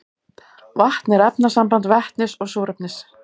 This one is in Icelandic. vatn er efnasamband vetnis og súrefnis